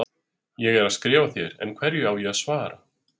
Ég er að skrifa þér, en hverju á ég að svara?